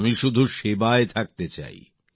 আমি শুধু সেবায় থাকতে চাই